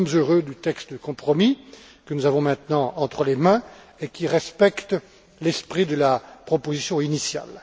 Nous sommes heureux du texte de compromis que nous avons maintenant entre les mains et qui respecte l'esprit de la proposition initiale.